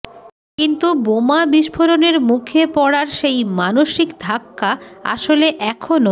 কিন্তু বোমা বিস্ফোরণের মুখে পড়ার সেই মানসিক ধাক্কা আসলে এখনো